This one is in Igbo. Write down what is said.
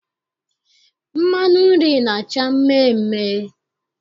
Mmanụ nri na-acha mmeemee.